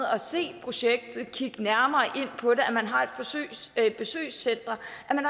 at se projektet og kigge nærmere på det at man har et besøgscenter